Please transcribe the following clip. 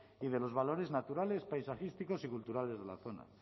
y de los valores naturales paisajísticos y culturales de la zona